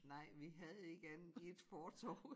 Nej vi havde ikke andet end ét fortov